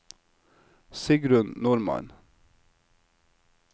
Sigrun Normann